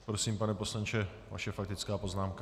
Prosím, pane poslanče, vaše faktická poznámka.